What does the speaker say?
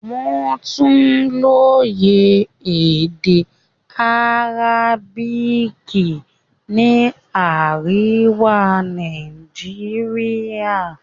Wọ́n tún lóye èdè Arabic ní àríwá Nàìjíríà.